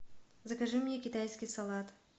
закажи мне китайский салат